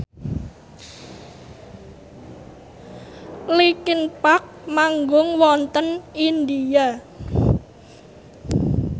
linkin park manggung wonten India